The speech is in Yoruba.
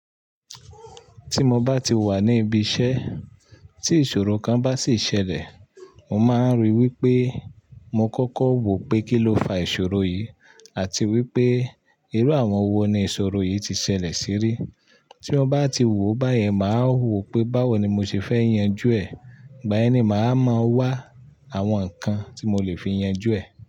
Tí mo bá ti wà ní ibi iṣẹ́ tí ìṣòro kan bá sì ṣẹlẹ̀, mo máa ń ríi wípé mo kọ́kọ́ wò pé kí ló fa ìṣòro yìí àti wípé irú àwọn wo ni ìṣòro yìí ti ṣẹlẹ̀ sí rí. Tí mo bá ti wò báyẹn, màá wò pé báwo ni mo ṣe fẹ́ yanjú ẹ̀, igbá yẹni màá wáa mọ̀ wá àwọn ǹkan tí mo lè fi yanjú ẹ̀